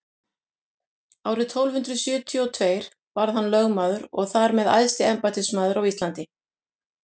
árið tólf hundrað sjötíu og tveir varð hann lögmaður og þar með æðsti embættismaður á íslandi